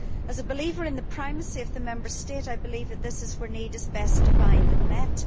As a believer in the primacy of the Member State, I believe that this is where need is best defined and met.